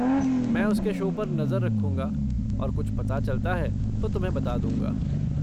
मैं उसके शो पर नजर रखूँगा और अगर कुछ पता चलता है तो तुम्हें बता दूँगा।